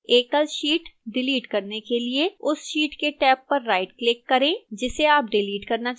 एकल sheet delete करने के लिए उस sheet के टैब पर rightclick करें जिसे आप डिलीट करना चाहते हैं